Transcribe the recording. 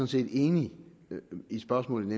set enig med spørgeren